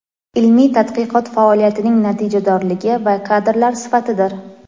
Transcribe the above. ilmiy tadqiqot faoliyatining natijadorligi va kadrlar sifatidir.